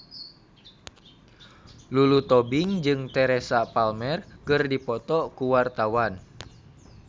Lulu Tobing jeung Teresa Palmer keur dipoto ku wartawan